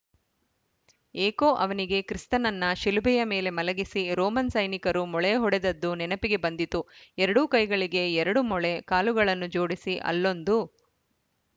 ಏಕೋ ಅವನಿಗೆ ಕ್ರಿಸ್ತನನ್ನ ಶಿಲುಬೆಯ ಮೇಲೆ ಮಲಗಿಸಿ ರೋಮನ್‌ ಸೈನಿಕರು ಮೊಳೆ ಹೊಡೆದದ್ದು ನೆನಪಿಗೆ ಬಂದಿತು ಎರಡೂ ಕೈಗಳಿಗೆ ಎರಡು ಮೊಳೆ ಕಾಲುಗಳನ್ನು ಜೋಡಿಸಿ ಅಲ್ಲೊಂದು